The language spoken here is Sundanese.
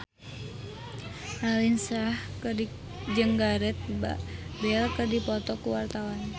Raline Shah jeung Gareth Bale keur dipoto ku wartawan